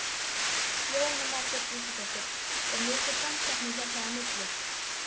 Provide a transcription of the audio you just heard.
Jóhanna Margrét Gísladóttir: Er mikil samkeppni hérna á milli?